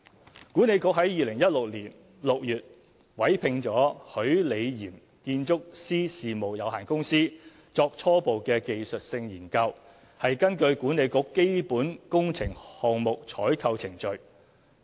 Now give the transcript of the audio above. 西九管理局在2016年6月委聘許李嚴建築師事務有限公司作初步技術性研究，是根據管理局基本工程項目採購程序。